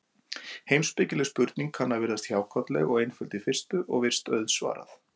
Heimspekileg spurning kann að virðast hjákátleg og einföld í fyrstu, og virst auðsvarað.